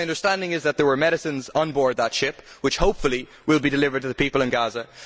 My understanding is that there were medicines on board that ship, which hopefully will be delivered to the people in Gaza.